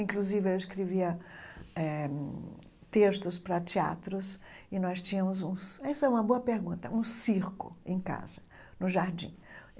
Inclusive, eu escrevia eh textos para teatros e nós tínhamos uns – essa é uma boa pergunta – um circo em casa, no jardim.